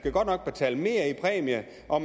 og